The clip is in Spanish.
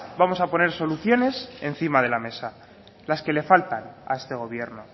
vamos a poner soluciones encima de la mesa las que le faltan a este gobierno